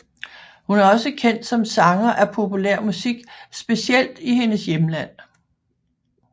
Hun er også kendt som sanger af populær musik specielt i hendes hjemland